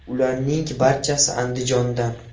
Ularning barchasi Andijondan.